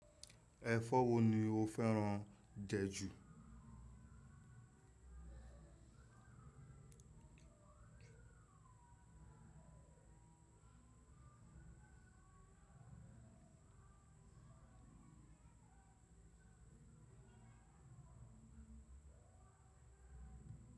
Ẹ̀fọ́ wo ni o fẹ́ràn jẹ ju.